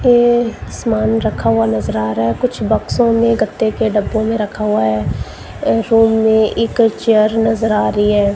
ये समान रखा हुआ नजर आ रहा है। कुछ बक्सों में गत्ते के डब्बे में रखा हुआ है। अ रूम में इक चेयर नजर आ रही है।